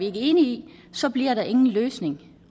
ikke enig i så bliver der ingen løsning